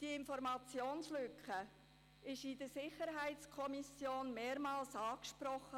Diese Informationslücke wurde in der SiK mehrmals angesprochen.